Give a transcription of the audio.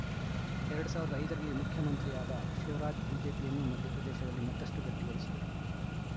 ಎರಡ್ ಸಾವಿರದ ಐದ ರಲ್ಲಿ ಮುಖ್ಯಮಂತ್ರಿಯಾದ ಶಿವರಾಜ್‌ ಬಿಜೆಪಿಯನ್ನು ಮಧ್ಯಪ್ರದೇಶದಲ್ಲಿ ಮತ್ತಷ್ಟುಗಟ್ಟಿಗೊಳಿಸಿದರು